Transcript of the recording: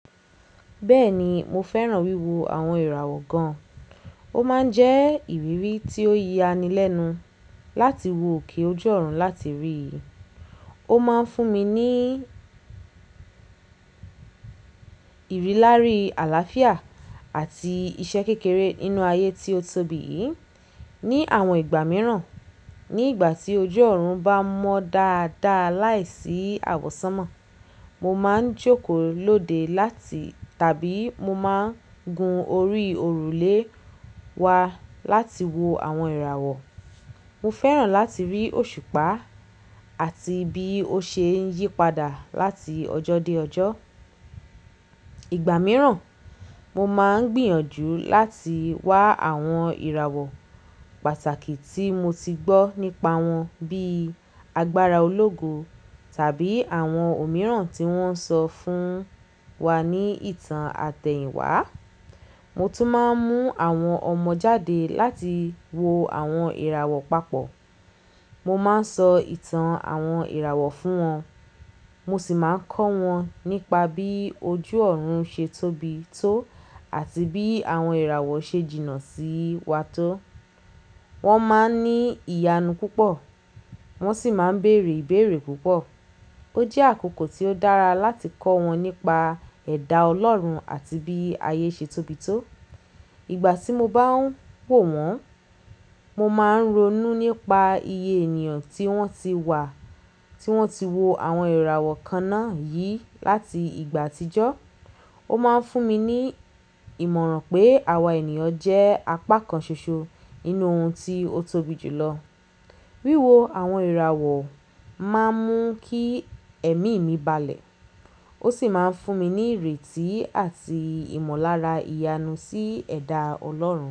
Bẹ́ẹ̀ni, mo fẹ́ràn wíwo àwọn ìràwọ̀ gan. Ó máa ń jẹ́ ìrírí tí ó yaani lẹ́nu láti wo òkè ojú ọ̀run láti rí. Ó máa ń fún mi ní ìrírí àlàáfíà àti iṣẹ́ kékeré nínú ayé tí ó tóbi yìí. Ni àwọn ìgbà mìíràn, ní ìgbà tí ojú ọ̀run bá mọ́ dáadáa láìsí àwọ̀sánmà, mo máa ń jókòó lóde láti tàbí mo máa ń gun orí òrùlé wa láti wo àwọn ìràwọ̀. Mo fẹ́ràn láti rí òṣùpá àti bí ó ṣe ń yípadà láti ọjọ́ dé ọjọ́. Ìgbà mìíràn, mo máa ń gbìyànjú láti wá àwọn ìràwọ̀ pàtàkì tí mo ti gbọ́ nípa wọn bíi agbára ológo tàbí àwọn òmíràn tí wọ́n sọ fún wa ní ìtàn àtẹ̀yìnwá. Mo tún máa ń mú àwọn ọmọ jáde láti wo àwọn ìràwọ̀ papọ̀. Mo máa ń sọ ìtàn àwọn ìràwọ̀ fún wọn, mo sì máa ń kọ́ wọn nípa bí ojú ọ̀run ṣe tóbi tó àti bí àwọn ìràwọ̀ ṣe jìnnà sí wa tó. Wọ́n máa ń ní ìyanu púpọ̀, wọ́n sì máa ń bèrè ìbéèrè púpọ̀. Ó jẹ́ àkókò tí ó dára láti kọ́ wọn nípa ẹ̀dá Ọlọ́run àti bí ayé ṣe tóbi tó. Ìgbà tí mo bá ń wò wọ́n, mo máa ń ronú nípa iye ènìyàn tí wọ́n ti wà, tí wọ́n ti wo àwọn ìràwọ̀ kan náà yí láti ìgbà àtijọ́. Ó máa ń fún mi ní ìmọ̀ràn pé àwa ènìyàn jẹ́ apá kan ṣoṣo nínú ohun tí ó tóbi jù lọ. Wíwo àwọn ìràwọ̀ máa ń mú kí ẹ̀mí mi balẹ̀, ó sì máa ń fún mi ní ìrètí àti ìmọ̀lára ìyanu sí ẹ̀dá Ọlọ́run.